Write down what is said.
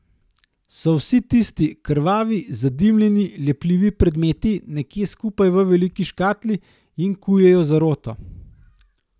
So vsi tisti krvavi, zadimljeni, lepljivi predmeti nekje skupaj v veliki škatli in kujejo zaroto?